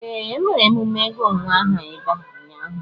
Ee, emere emume ịgụ nwa aha ebe a ụnyaahụ.